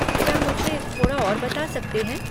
क्या मुझे थोड़ा और बता सकते हैं?